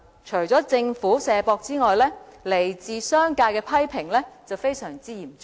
除了政府"卸膊"外，來自商界的批評也非常嚴重。